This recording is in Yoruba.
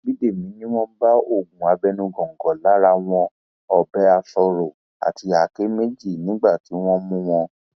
bídèmi ni wọn bá oògùn abẹnú góńgó lára wọn ọbẹ aṣọọrọ àti àáké méjì nígbà tí wọn mú wọn